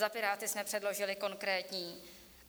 Za Piráty jsme předložili konkrétní.